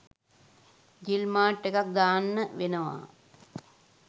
ජිල් මාට් එකක් දාන්න වෙනවා.